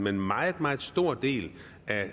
en meget meget stor del